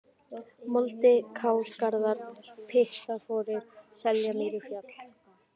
Moldi, Kálgarðar, Pyttaforir, Seljamýrafjall